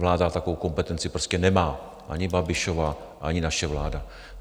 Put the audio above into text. Vláda takovou kompetenci prostě nemá, ani Babišova, ani naše vláda.